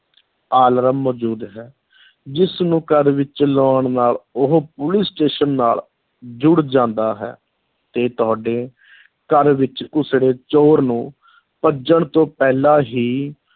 alarm ਮੌਜੂਦ ਹੈ, ਜਿਸ ਨੂੰ ਘਰ ਵਿਚ ਲਾਉਣ ਨਾਲ ਉਹ ਪੁਲਿਸ station ਨਾਲ ਜੁੜ ਜਾਂਦਾ ਹੈ ਤੇ ਤੁਹਾਡੇ ਘਰ ਵਿੱਚ ਘੁਸੜੇ ਚੋਰ ਨੂੰ ਭੱਜਣ ਤੋਂ ਪਹਿਲਾਂ ਹੀ